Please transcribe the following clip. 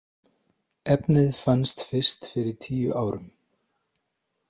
Efnið fannst fyrst fyrir tíu árum.